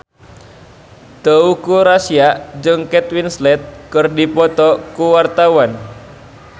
Teuku Rassya jeung Kate Winslet keur dipoto ku wartawan